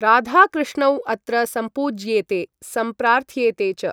राधाकृष्णौ अत्र सम्पूज्येेते संप्रार्थ्येते च।